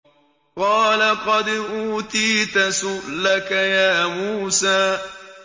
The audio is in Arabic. قَالَ قَدْ أُوتِيتَ سُؤْلَكَ يَا مُوسَىٰ